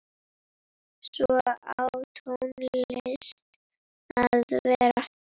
Svona á tónlist að vera.